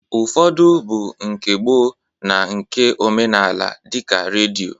Ụfọdụ bụ nke gboo na nke omenaala dịka redio